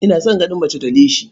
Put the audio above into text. Ina son ganin mace da leshi.